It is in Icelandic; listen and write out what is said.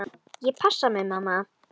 Ég passa mig, mamma.